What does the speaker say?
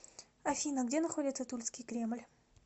афина где находится тульский кремль